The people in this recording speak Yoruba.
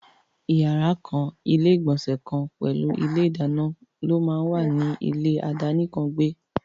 Yàrá kan, ilé ìgbònsè kan pèlú ilé ìdáná ló máà wà ní ilé àdánìkàn gbẹ́.